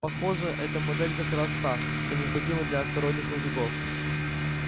похоже эта модель как раз та что необходима для астероидных рудников